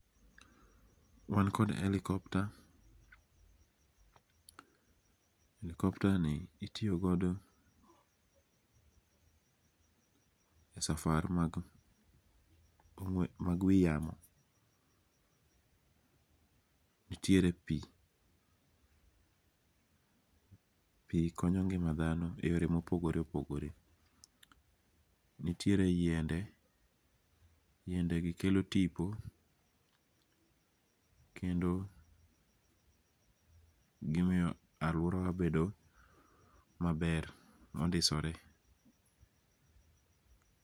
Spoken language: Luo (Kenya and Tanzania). Wan kod helicopter, helicopter ni itiyo godo e safari mag mag wi yamo, nitiere pi, pi konyo ngi'ma thano e yore mopogore opogore, nitiere yiende, yiendegi kelo tipo kendo gimiyo aluorawa bedo maber mondisore.